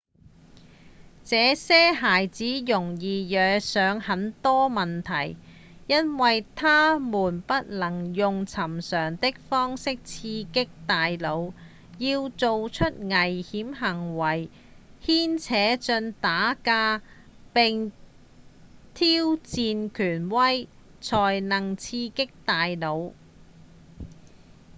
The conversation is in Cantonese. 這些孩子容易惹上很多麻煩因為他們不能用尋常的方法刺激大腦要「做出危險的行為、牽扯進打架並挑戰權威」才能刺激大腦